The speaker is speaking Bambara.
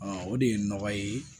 o de ye nɔgɔ ye